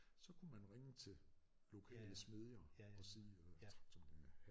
Så kunne man ringe til lokale smedjer og sige øh traktormekanikere